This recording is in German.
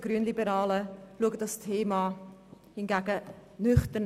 Wir Grünliberale betrachten das Thema nüchtern.